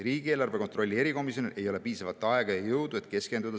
Riigieelarve kontrolli erikomisjonil ei ole piisavalt aega ja jõudu, et sellele projektile keskenduda.